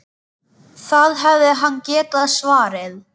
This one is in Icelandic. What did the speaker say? Það hefði hann getað svarið.